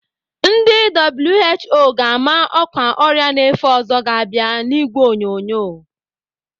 Ndị WHO ga-ama ọkwa ọrịa na-efe ọzọ ga-abịa n'ìgwè onyonyo.